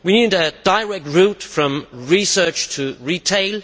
We need a direct route from research to retail.